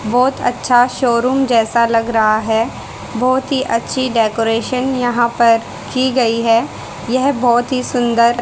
बहोत अच्छा शोरूम जैसा लग रहा है बहोत ही अच्छी डेकोरेशन यहां पर की गई है यह बहोत ही सुंदर--